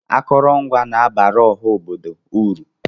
Akụrụngwa na-abara ọha obodo uru.